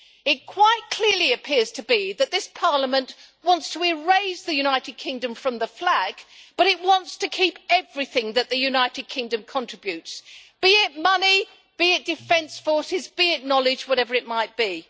It quite clearly appears to be that this Parliament wants to erase the United Kingdom from the flag but it wants to keep everything that the United Kingdom contributes, be it money, be it defence forces, be it knowledge whatever it might be.